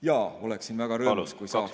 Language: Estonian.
Jaa, oleksin väga rõõmus, kui saaks.